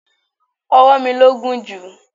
Ọwọ mi ló gùn jù.